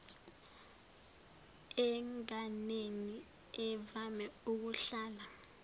enganeni evame ukuhlala